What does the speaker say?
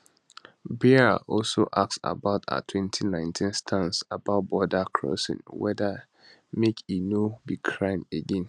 baier also ask about her 2019 stance about border crossings weda make e no be crime again